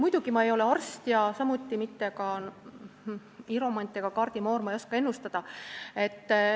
Muidugi, ma ei ole arst, samuti mitte hiromant ega kaardimoor, ma ei oska ennustada.